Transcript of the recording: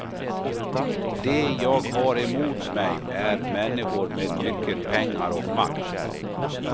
De jag har emot mig är människor med mycket pengar och makt.